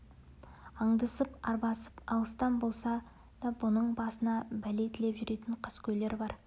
аңдысып арбасып алыстан болса да бұның басына пәле тілеп жүретін қаскөйлер бар